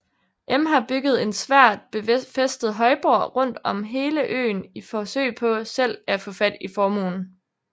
M har bygget en svært befæstet højborg rundt om hele øen i forsøg på selv at få fat i formuen